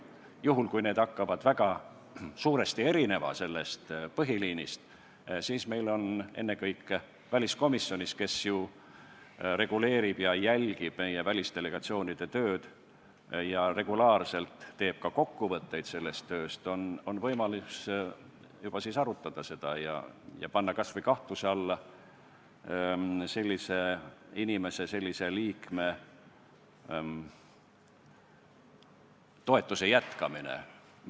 Juhul kui need hakkavad väga suuresti erinema sellest põhiliinist, siis on ennekõike väliskomisjonis – kes ju reguleerib ja jälgib meie välisdelegatsioonide tööd ja regulaarselt teeb sellest tööst ka kokkuvõtteid – võimalus seda arutada ja panna kas või kahtluse alla sellise liikme toetamise jätkamine.